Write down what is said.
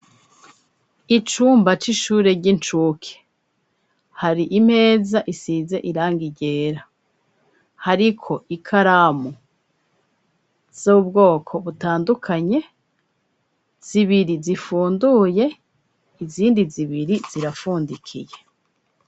Icumba c'ishure ry'incuke hari imeza isize iranga igera, hariko ikaramu zubwoko butandukanye zibiri zifunduye izindi zibiri zirapfundikiye.